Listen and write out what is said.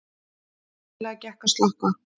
Greiðlega gekk að slökkva